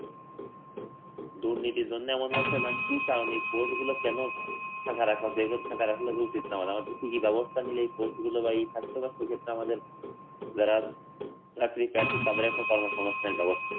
দুর্নীতির জন্যে এমন হচ্ছে না কি কারণে এই post গুলো কেন ফাঁকা রাখা হয়েছে এইভাবে ফাঁকা রাখলে তো উচিত না আমাদেরকে কি ব্যবস্থা নিলে এই post গুলো বা এই ছাত্রছাত্রীর ক্ষেত্রে যারা আমাদের যারা চাকরির প্রার্থী তাদের একটা কর্মসংস্থানের ব্যবস্থা হয়